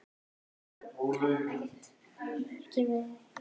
Gísli Einarsson: Hvað með venjulegt heimilissorp?